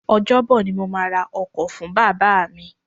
Ọjọ́ bọ̀ yí ni mo máa ṣe sàárà fún Bàbá mi.